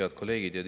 Head kolleegid!